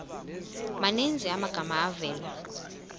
maninzi amagama avela